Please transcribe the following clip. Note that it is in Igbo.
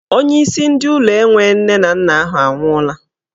Onyeisi ndị ụlọ enwe nne na nna ahụ anwụọla.